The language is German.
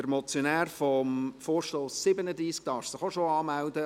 Der Motionär des Vorstosses zu Traktandum 37 darf sich auch schon anmelden.